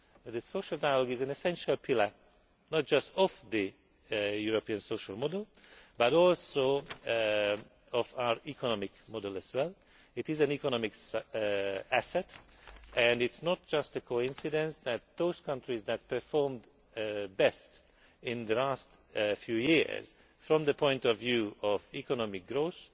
The social dialogue is an essential pillar not just of the European social model but also of our economic model. It is an economic asset, and it is no coincidence that those countries that performed best in the last few years from the point of view of economic growth